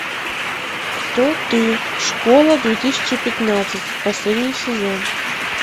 кто ты школа две тысячи пятнадцать последний сезон